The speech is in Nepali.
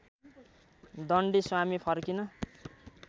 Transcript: दण्डी स्वामी फर्किन